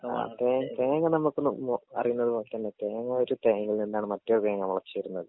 ആ തേ തേങ്ങ നമുക്ക് നോ നോ അറിയുന്നതൊക്കേണ് തേങ്ങ ഒരു തേങ്ങയിൽ നിന്നാണ് മറ്റൊരു തേങ്ങ മുളച്ച് വെരുന്നത്.